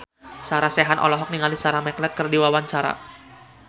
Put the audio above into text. Sarah Sechan olohok ningali Sarah McLeod keur diwawancara